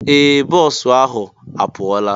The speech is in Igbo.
Ee! Bọọsụ ahụ a pụọla.